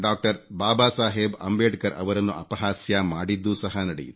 ಬಾಬಾ ಸಾಹೇಬ್ ಅಂಬೇಡ್ಕರ್ ಅವರನ್ನು ಅಪಹಾಸ್ಯ ಮಾಡಿದ್ದೂ ಸಹ ನಡೆಯಿತು